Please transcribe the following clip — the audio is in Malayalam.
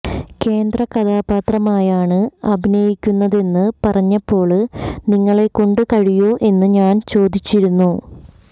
കേന്ദ്ര കഥാപാത്രമായാണ് അഭിനയിക്കുന്നതെന്ന് പറഞ്ഞപ്പോള് നിങ്ങളെക്കൊണ്ട് കഴിയോ എന്ന് ഞാന് ചോദിച്ചിരുന്നു